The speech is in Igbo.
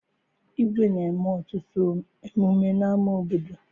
Igwe na-eme ọtụtụ emume n'ama obodo